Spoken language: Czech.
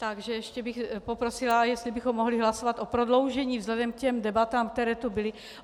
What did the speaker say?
Takže ještě bych poprosila, jestli bychom mohli hlasovat o prodloužení vzhledem k těm debatám, které tu byly.